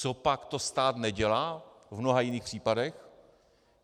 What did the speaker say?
Copak to stát nedělá v mnoha jiných případech?